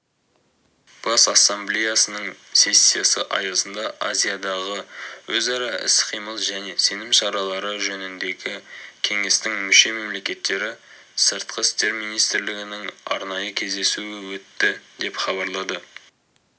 бас ассамблеясының сессиясы аясында азиядағы өзара іс-қимыл және сенім шаралары жөніндегі кеңестің мүше-мемлекеттері сыртқы істер министрлерінің арнайы кездесуі өтті деп хабарлады